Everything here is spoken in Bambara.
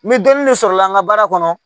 Ni dɔnni de sɔrɔla an ka baara kɔnɔ